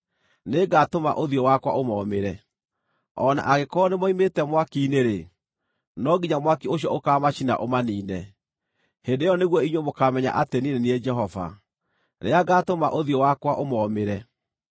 Nĩngatũma ũthiũ wakwa ũmoomĩre. O na angĩkorwo nĩmoimĩte mwaki-inĩ-rĩ, no nginya mwaki ũcio ũkaamacina ũmaniine. Hĩndĩ ĩyo nĩguo inyuĩ mũkaamenya atĩ niĩ nĩ niĩ Jehova, rĩrĩa ngatũma ũthiũ wakwa ũmoomĩre.